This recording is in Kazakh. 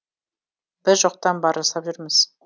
біз жоқтан бар жасап жүрміз